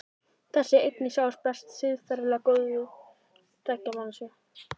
Þessi eining sjáist best í siðferðilega góðu kynlífi tveggja manneskja.